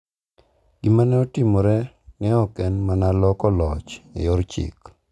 Gima ne otimore ne ok en mana loko loch e yor chik .